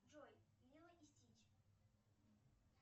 джой лило и стич